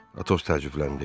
Atos təəccübləndi.